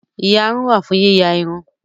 Ìyarun wà fún yíya irun